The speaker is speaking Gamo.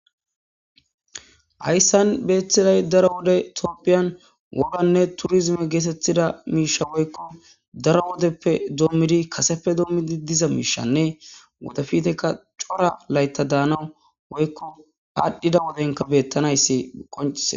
Hayssan bettizay daro woden tophiya woganne turrizime gettetida mishsha woyikko daro woddepp dommidi kaseppe domidi diza mishshanne woddepittekka Cora layita danaw woyikko adhdhida woddenkka bettanayisi qonccises.